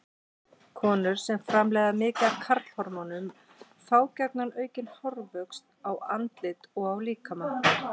Konur sem framleiða mikið af karlhormónum fá gjarna aukinn hárvöxt í andliti og á líkama.